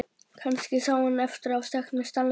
Kannski sá hann eftir að hafa sagt mér sannleikann.